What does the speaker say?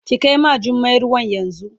Ki kai ma Jummai ruwan yanzu.